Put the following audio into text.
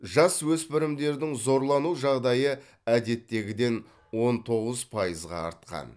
жасөспірімдердің зорлану жағдайы әдеттегіден он тоғыз пайызға артқан